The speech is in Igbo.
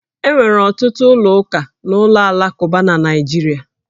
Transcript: E nwere ọtụtụ ụlọ ụka na ụlọ alakụba na Naịjirịa